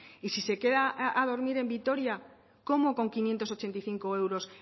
y si se queda a dormir en vitoria cómo con quinientos ochenta y cinco euros